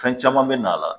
Fɛn caman bɛ na a la